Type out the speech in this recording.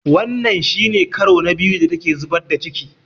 Wanga shi ne ƙaro na biyu da ta ke zubar da ciƙi.